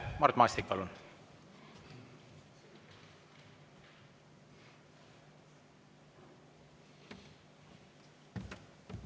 Mart Maastik, palun!